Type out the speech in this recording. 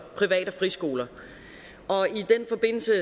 private friskoler og